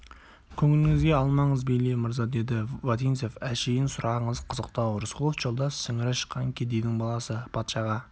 көңіліңізге алмаңыз бейли мырза деді вотинцев әшейін сұрағыңыз қызықтау рысқұлов жолдас сіңірі шыққан кедейдің баласы патшаға